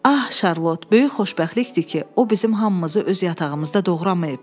Ax Şarlot, böyük xoşbəxtlikdir ki, o bizim hamımızı öz yatağımızda doğramayıb.